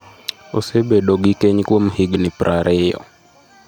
Osebedo gi keny kuom higni prariyo.